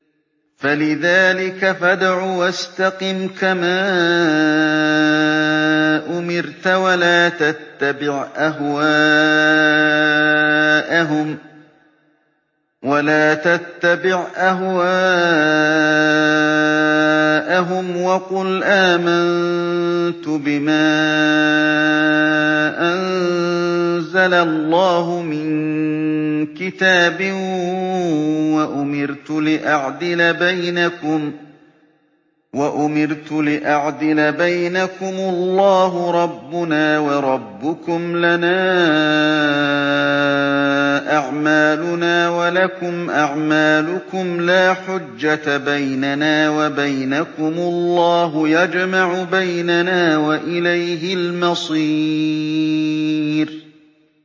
فَلِذَٰلِكَ فَادْعُ ۖ وَاسْتَقِمْ كَمَا أُمِرْتَ ۖ وَلَا تَتَّبِعْ أَهْوَاءَهُمْ ۖ وَقُلْ آمَنتُ بِمَا أَنزَلَ اللَّهُ مِن كِتَابٍ ۖ وَأُمِرْتُ لِأَعْدِلَ بَيْنَكُمُ ۖ اللَّهُ رَبُّنَا وَرَبُّكُمْ ۖ لَنَا أَعْمَالُنَا وَلَكُمْ أَعْمَالُكُمْ ۖ لَا حُجَّةَ بَيْنَنَا وَبَيْنَكُمُ ۖ اللَّهُ يَجْمَعُ بَيْنَنَا ۖ وَإِلَيْهِ الْمَصِيرُ